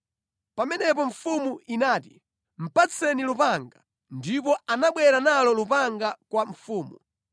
Pamenepo mfumu inati, “Patseni lupanga.” Ndipo anabwera nalo lupanga kwa mfumu.